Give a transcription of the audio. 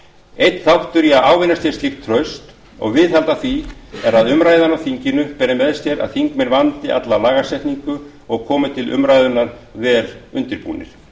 einn þáttur í að ávinna sér slíkt traust og viðhalda því er að umræðan á þinginu beri með sér að þingmenn vandi alla lagasetningu og komi til umræðunnar vel undirbúnir við